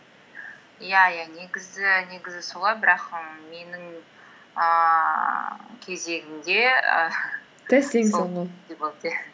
иә иә негізі солай бірақ і менің ііі кезегімде і иә